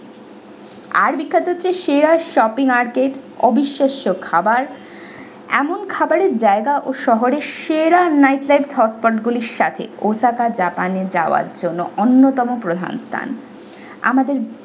আর বিখ্যাত হচ্ছে সেরা shopping আর cake অবিশাস্য খাবার এমন খাবারের জায়গা ও শহরের সেরা night lifethoughtpod গুলির সাথে osaka japan এ যাবার জন্য অন্যতম প্রধান স্থান আমাদের।